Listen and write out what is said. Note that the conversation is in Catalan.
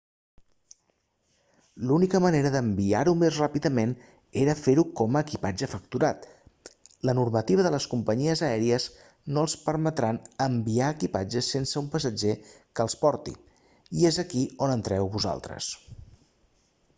l'única manera d'enviar-ho més ràpidament era fer-ho com a equipatge facturat la normativa de les companyies aèries no els permetran enviar equipatge sense un passatger que el porti i és aquí on entreu vosaltres